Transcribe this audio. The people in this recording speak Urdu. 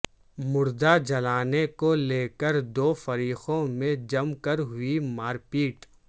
مردہ جلانے کو لیکر دو فریقوں میں جم کر ہوئی مار پیٹ